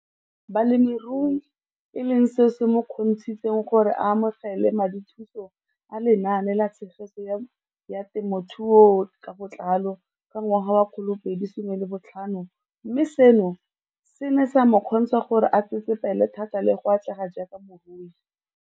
Balemirui e leng seo se mo kgontshitseng gore a amogele madithuso a Lenaane la Tshegetso ya Te mothuo ka Botlalo CASP ka ngwaga wa 2015, mme seno se ne sa mo kgontsha gore a tsetsepele thata le go atlega jaaka molemirui.